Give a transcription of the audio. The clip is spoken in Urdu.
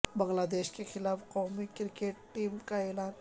بنگلہ دیش کے خلاف قومی کرکٹ ٹیم کا اعلان